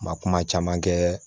Ma kuma caman kɛ